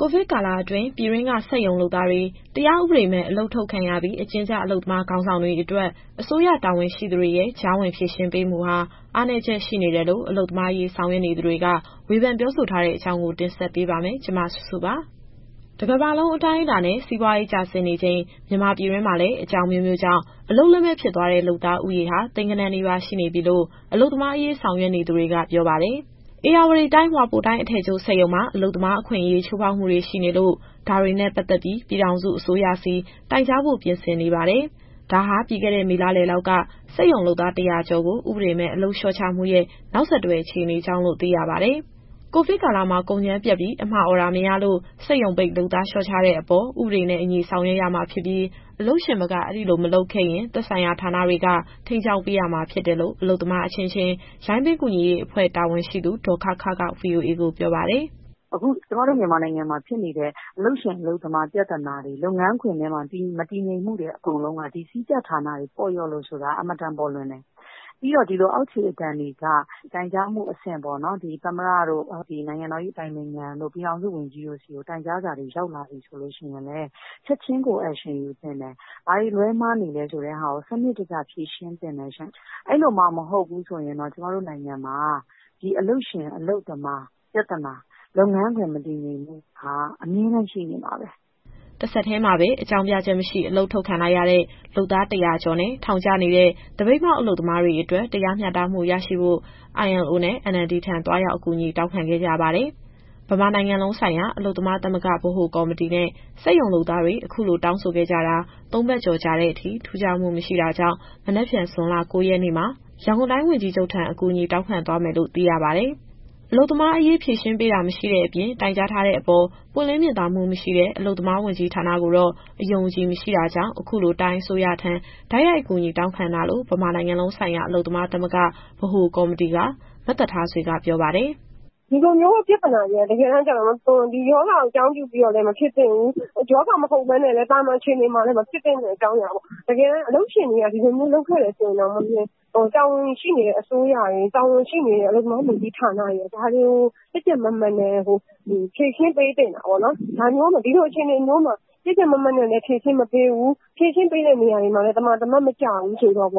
ိုဗစ်ကာလအတွင်းမှာ ပြည်တွင်းက စက်ရုံလုပ်သားတွေ တရားဥပဒေမဲ့ အလုပ်ထုတ်ခံရပြီး အကျဉ်းကျ အလုပ်သမားခေါင်းဆောင်တွေအတွက် အစိုးရတာဝန်ရှိသူတွေရဲ့ ကြားဝင်ဖြေရှင်းပေးမှုဟာ အားနည်းချက်ရှိနေတယ်လို့ အလုပ်သမားအရေးဆောင်ရွက်နေသူတွေက ဝေဖန်ပြောဆိုထားတဲ့အကြောင်းကို ဗွီအိုအေမြန်မာပိုင်းသတင်းထောက် မစုစုက တင်ဆက်ပေးပါမယ်။ တကမ္ဘာလုံးအတိုင်းအတာနဲ့ စီးပွားရေး ကျဆင်းနေချိန် မြန်မာပြည်တွင်းမှာလည်း အကြောင်းအမျိုးမျိုးကြောင့် အလုပ်လက်မဲ့ဖြစ်သွားတဲ့ လုပ်သားဦးရေဟာ သိန်းဂဏန်းနီးပါးရှိနေပြီလို့ အလုပ်သမားအရေး ဆောင်ရွက်နေသူတွေက ပြောပါတယ်။ ဧရာဝတီတိုင်းက ဟွာပိုတိုင်းစ်အထည်ချုပ်စက်ရုံမှာ အလုပ်သမားအခွင့်အရေး ချိုးဖောက်မှုတွေရှိနေလို့ ဒါတွေနဲ့ပတ်သက်ပြီး ပြည်ထောင်စုအစိုးရဆီ တိုင်ကြားဖို့ပြင်ဆင်နေပါတယ်။ ဒါဟာ ပြီးခဲ့တဲ့ မေလလယ်လောက်က စက်ရုံလုပ်သား ၁၀၀ ကျော်ကို ဥပဒေမဲ့ အလုပ်သမားလျှော့ချမှု နောက်ဆက်တွဲအခြေအနေကြောင့်လို့ သိရပါတယ်။ ကိုဗစ်ကာလမှာ ကုန်ကြမ်းပြတ်ပြီး အမှာအော်ဒါမရလို့ စက်ရုံပိတ်လုပ်သားလျှော့ချတဲ့အပေါ် ဥပဒေနဲ့အညီ ဆောင်ရွက်ရမှာဖြစ်ပြီး အလုပ်ရှင်ဘက်က အဲဒီလိုမလုပ်ခဲ့ရင် သက်ဆိုင်ရာဌာနတွေက ထိန်းကျောင်းပေးရမှာ ဖြစ်တယ်လို့ အလုပ်သမားအချင်းချင်း ရိုင်းပင်းကူညီရေးအဖွဲ့တာဝန်ရှိသူ ဒေါ်ခခက VOA ကိုပြောပါတယ်။ “အခုကျမတို့ မြန်မာနိုင်ငံမှာဖြစ်နေတဲ့ အလုပ်ရှင်အလုပ်သမား ပြဿနာတွေ လုပ်ငန်းခွင်ထဲမှာ မတည်ငြိမ်မှုတွေအကုန်လုံးက ဒီကြီးကြပ်ဌာနတွေပေါ့လျော့လို့ဆိုတာ အင်မတန်ပေါ်လွင်တယ်။ ပြီးတော့ ဒီလိုအောက်ခြေအသံတွေက တိုင်ကြားမှုအဆင့်ပေါ့နော်။ သမ္မတ၊ အတိုင်ပင်ခံ၊ ပြည်ထောင်စုဝန်ကြီးတို့ဆီကို တိုင်ကြားစာတွေ ရောက်လာပြီဆိုရင်လည်း ချက်ချင်းကို action ယူသင့်တယ်။ ဘာတွေလွဲမှားနေလဲဆိုတာကို စနစ်တကျဖြေရှင်းသင့်တယ်ရှင့်။ အဲလိုမှမဟုတ်ရင် ကျမတို့နိုင်ငံမှာ ဒီအလုပ်ရှင်အလုပ်သမားပြဿနာ၊ လုပ်ငန်းခွင်မတည်ငြိမ်မှုဟာ အမြဲတမ်းရှိနေမှာပဲ။” တဆက်တည်းမှာပဲ အကြောင်းပြချက်မရှိ အလုပ်ထုတ်ခံလိုက်ရတဲ့ လုပ်သား ၁၀၀ ကျော်နဲ့ ထောင်ကျနေတဲ့ သပိတ်မှောက်အလုပ်သမားတွေအတွက် တရားမျှတမှု ရရှိဖို့ ILO နဲ့ NLD ထံ သွားရောက်အကူအညီတောင်းခံခဲ့ကြပါတယ်။ ဗမာနိုင်ငံလုံးဆိုင်ရာ အလုပ်သမားသမဂ္ဂ ဗဟိုကော်မတီနဲ့ စက်ရုံလုပ်သားတွေ အခုလိုတောင်းဆိုခဲ့ကြတာ ၃ ပတ်ကျော်ကြာတဲ့အထိ ထူးခြားမှုမရှိတာကြောင့် မနက်ဖြန် ဇွန်လ ၉ရက်နေ့မှာ ရန်ကုန်တိုင်းဝန်ကြီးချုပ်ထံ အကူအညီတောင်းခံသွားမယ်လို့ သိရပါတယ်။ အလုပ်သမားအရေး ဖြေရှင်းပေးတာ မရှိတဲ့အပြင် တိုင်ကြားထားတဲ့အပေါ် ပွင့်လင်းမြင်သာမှုမရှိတဲ့ အလုပ်သမားဝန်ကြီးဌာနကိုတော့ အယုံအကြည်မရှိတာကြောင့် အခုလိုတိုင်းအစိုးရထံ တိုက်ရိုက်အကူအညီတောင်းခံတာလို့ ဗမာနိုင်ငံလုံးဆိုင်ရာ အလုပ်သမားသမဂ္ဂ ဗဟိုကော်မတီက မသက်ထားဆွေက ပြောပါတယ်။ “ဒီလိုမျိုးပြဿနာတွေက ဒီရောဂါကိုအကြောင်းပြုပြီးတော့လည်း မဖြစ်သင့်ဘူး။ ရောဂါမဟုတ်ဘဲ သာမန်အချိန်မှာလည်း မဖြစ်သင့်တဲ့အကြောင်းအရာပေါ့။ တကယ်တမ်းအလုပ်ရှင်တွေက ဒီလိုမျိုးလုပ်ခဲ့တယ်ဆိုရင်တောင်မှ တာဝန်ရှိနေတဲ့အစိုးရနဲ့ အလုပ်သမားဝန်ကြီးဌာနက ဒါတွေကို ကြပ်ကြပ်မတ်မတ်ဖြေရှင်းပေးသင့်တာပေါ့နော်။ ဒီလိုအခြေအနေမျိုးမှာ ကြပ်ကြပ်မတ်မတ်လည်း ဖြေရှင်းမပေးဘူး။ ဖြေရှင်းပေးတဲ့နေရာတွေမှာလည်း သမာသမတ်မကျဘူးဆိုရင် ဒါဟာ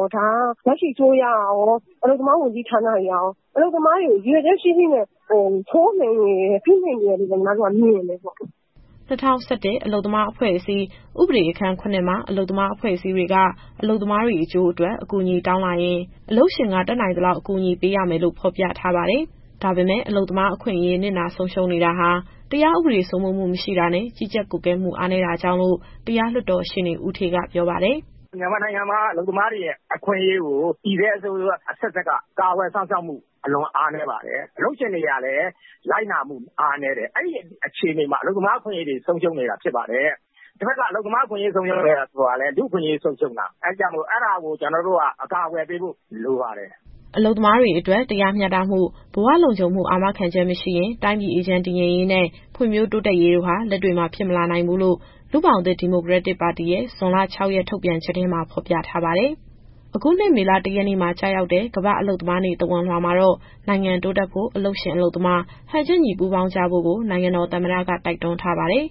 လက်ရှိအစိုးရကရော၊ အလုပ်သမားဝန်ကြီးဌာနကရော အလုပ်သမားတွေအပေါ် ရည်ရွယ်ချက်ရှိရှိ ချိုးနှိမ်ဖိနှိမ့်နေတယ်လို့ ညီမတို့ကမြင်တယ်။” ၂၀၁၁ အလုပ်သမားအဖွဲ့အစည်း ဥပဒေအခန်း ၇ မှာ အလုပ်သမားအဖွဲ့အစည်းတွေက အလုပ်သမားတွေအကျိုးအတွက် အကူအညီတောင်းလာရင် အလုပ်ရှင်က တတ်နိုင်သလောက် အကူအညီပေးရမယ်လို့ ဖော်ပြထားပါတယ်။ ဒါပေမဲ့ အလုပ်သမားအခွင့်အရေး နစ်နာဆုံးရှုံးနေတာဟာ တရားဥပဒေ စိုးမိုးမှုမရှိတာနဲ့ ကြီးကြပ်ကွပ်ကဲမှုအားနည်းတာကြောင့်လို့ တရားလွှတ်တော်ရှေ့နေ ဦးဌေးကပြောပါတယ်။ “မြန်မာနိုင်ငံမှာက အလုပ်သမားတွေရဲ့ အခွင့်အရေးကို တည်ဆဲအစိုးရအဆက်ဆက်က ကာကွယ်စောင့်ရှောက်မှု အလွန်အားနည်းပါတယ်။ အလုပ်ရှင်တွေကလည်း လိုက်နာမှုအားနည်းတယ်။ အဲဒီအခြေအနေမှာ အလုပ်သမားအခွင့်အရေးတွေ ဆုံးရှုံးနေတာဖြစ်ပါတယ်။ တဘက်က အလုပ်သမားအခွင့်အရေး ဆုံးရှုံးတယ်ဆိုတာလည်း လူ့အခွင့်အရေးဆုံးရှုံးတာ။ အဲဒါကို ကျနော်တို့က အကာအကွယ်ပေးဖို့ လိုပါတယ်။” အလုပ်သမားတွေအတွက် တရားမျှတမှု၊ ဘဝလုံခြုံမှု အာမခံချက်မရှိရင် တိုင်းပြည်အေးချမ်းတည်ငြိမ်ရေးနဲ့ ဖွံ့ဖြိုးတိုးတက်ရေးတို့ဟာ လက်တွေ့မှာဖြစ်မလာနိုင်ဘူးလို့ လူ့ဘောင်သစ်ဒီမိုကရက်တစ်ပါတီရဲ့ ဇွန်လ ၆ ရက် ထုတ်ပြန်ချက်ထဲမှာ ဖော်ပြထားပါတယ်။ အခုနှစ် မေလ ၁ရက်နေ့မှာ ကျရောက်တဲ့ ကမ္ဘာ့အလုပ်သမားနေ့ သဝဏ်လွှာမှာတော့ နိုင်ငံတိုးတက်ဖို့ အလုပ်ရှင်၊ အလုပ်သမား ဟန်ချက်ညီပူးပေါင်းကြဖို့ကို နိုင်ငံတော်သမ္မတက တိုက်တွန်းထားပါတယ်။